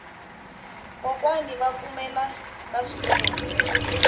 kokwani va pfumela ka swikwembu